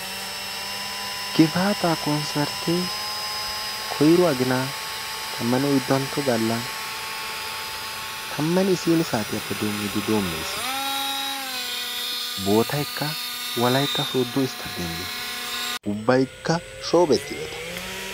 gifaataa konssartte koyiro aginaa tammanne oyiddantto Galla tammanne isiini saatiyappe doimmidi doommees. Bootayikka wolayitta sooddo isttaadeemiya. Ubbatikka shoobettideta.